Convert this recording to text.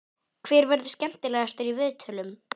Hver verður skemmtilegastur í viðtölum?